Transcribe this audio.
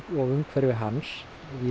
og umhverfi hans